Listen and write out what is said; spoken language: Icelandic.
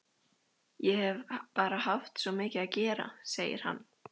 Ég hef bara haft svo mikið að gera, segir hann.